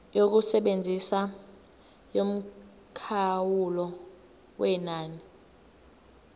yokusebenza yomkhawulo wenani